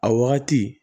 A wagati